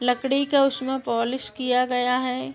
लकड़ी का उसमे पोलिश किया गया है।